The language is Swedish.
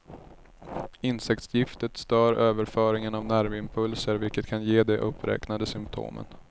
Insektsgiftet stör överföringen av nervimpulser vilket kan ge de uppräknade symptomen.